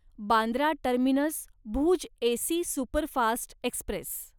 Bandra terminus Bhuj AC superfast Express